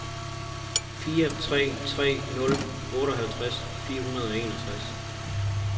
fire tre tre nul otteoghalvtreds fire hundrede og enogtres